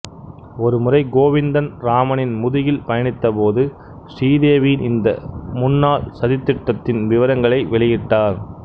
ஒருமுறை கோவிந்தன் ராமனின் முதுகில் பயணித்தபோது ஸ்ரீதேவியின் இந்தச் முன்னாள் சதித்திட்டத்தின் விவரங்களை வெளியிட்டார்